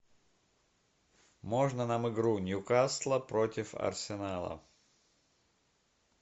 можно нам игру ньюкасла против арсенала